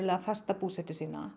fasta búsetu sína